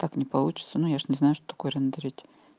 так не получится но я же не знаю что такое рендерить